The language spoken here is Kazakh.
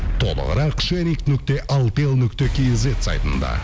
толығырақ нүкте алтел нүкте кизет сайтында